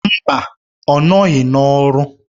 Mba! ọ nọghị n'ọrụ.